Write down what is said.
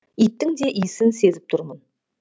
иттің де иісін сезіп тұрмын